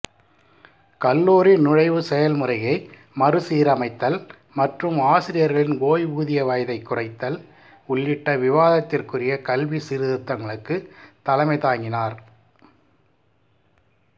கல்லூரி நுழைவு செயல்முறையை மறுசீரமைத்தல் மற்றும் ஆசிரியர்களின் ஓய்வூதிய வயதைக் குறைத்தல் உள்ளிட்ட விவாதத்திற்குரிய கல்வி சீர்திருத்தங்களுக்கு தலைமை தாங்கினார்